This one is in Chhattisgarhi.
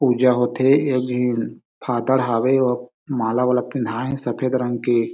पूजा होथे एक झीन फादर हवे अउ माला वाला पहिनाए हे सफ़ेद रंग के--